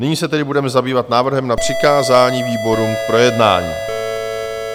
Nyní se tedy budeme zabývat návrhem na přikázání výborům k projednání.